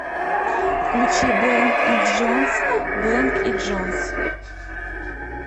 включи блэнк энд джонс блэнк и джонс